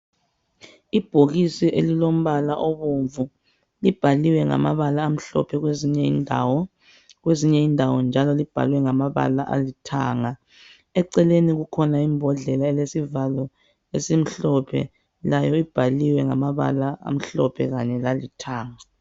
Ibhokisi elilombala obomvu, libhaliwe ngamabala amhlophe kwezinye indawo. Kwezinye indawo njalo libhaliwe ngamabala alithanga. Eceleni kukhona imbodlela elesivalo esimhlophe, layo ibhaliwe ngamabala amhlophe kanye lalithanga.